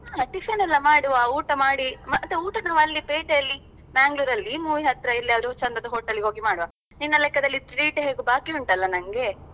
ಹಾ tiffin ಎಲ್ಲಾ ಮಾಡುವ ಊಟ ಮಾಡಿ ಮತ್ತೇ ಊಟನು ಅಲ್ಲಿ ಪೇಟೆಯಲ್ಲಿ Mangalore ಅಲ್ಲಿ movie ಹತ್ರ ಎಲ್ಲಿಯಾದ್ರೂ ಚಂದದ hotel ಗೆ ಹೋಗಿ ಮಾಡ್ವಾ ನಿನ್ನ ಲೆಕ್ಕದಲ್ಲಿ treat ಹೇಗೂ ಬಾಕಿ ಉಂಟಲ್ಲಾ ನಂಗೇ?